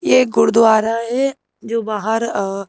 ये एक गुरुद्वारा है जो बाहर अ--